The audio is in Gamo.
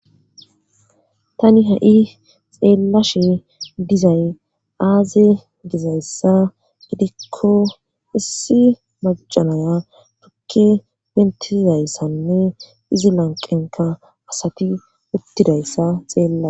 tani ha7i xeellashe dizay aaze gizayssa gidikko issi macanaya tukke wentizayssanne izi lanqenka asati uttidayssa xeella